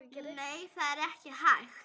Nei, það er ekki hægt